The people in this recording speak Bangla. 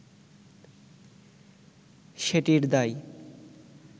সেটির দায়